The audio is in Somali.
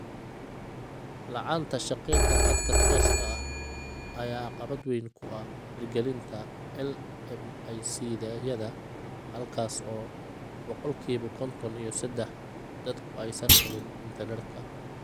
La'aanta shaqeynta khadka tooska ah ayaa caqabad weyn ku ah hirgelinta LMIC-yada halkaas oo boqolkiba konton iyo sedax dadku aysan helin internetka.